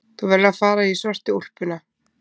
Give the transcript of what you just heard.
Þú verður að fara í svörtu úlpuna.